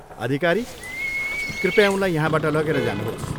अधिकारी, कृपया उनलाई यहाँबाट लगेर जानुहोस्।